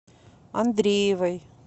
андреевой